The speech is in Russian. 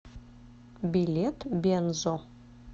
билет бензо